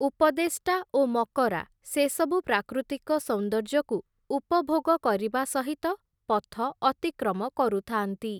ଉପଦେଷ୍ଟା ଓ ମକରା ସେସବୁ ପ୍ରାକୃତିକ ସୌନ୍ଦର୍ଯ୍ୟକୁ ଉପଭୋଗ କରିବା ସହିତ ପଥ ଅତିକ୍ରମ କରୁ ଥାଆନ୍ତି ।